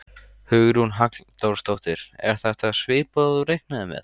Hugrún Halldórsdóttir: Er þetta svipað og þú reiknaðir með?